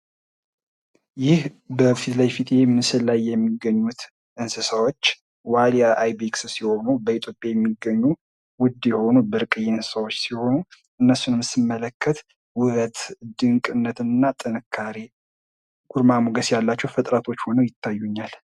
ይህ በምስሉ ላይ የሚታዩት እንስሳዎች ዋልያ አይቤክስ ሲሆኑ ፤ በኢትዮጵያ የሚገኙ ውድ የሆኑ ብርቅዬ እንስሳዎች ሲሆኑ እነሱን መመልከት ውበት ፥ድንቅነትና፥ ጥንካሬ ፥ ግርማ ሞገስ ያላቸው እንስሳቶች ሆነው ይታዩኛል።